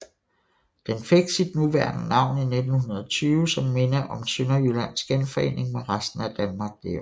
Den fik sit nuværende navn i 1920 som minde om Sønderjyllands genforening med resten af Danmark det år